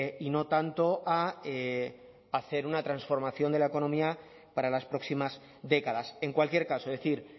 y no tanto a hacer una transformación de la economía para las próximas décadas en cualquier caso decir